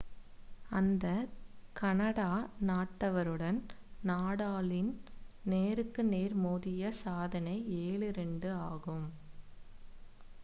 அந்த கனடா நாட்டவருடன் நடாலின் நேருக்கு நேர் மோதிய சாதனை 7-2 ஆகும்